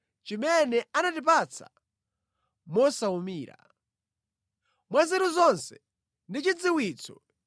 chimene anatipatsa mosawumira. Mwa nzeru zonse ndi chidziwitso,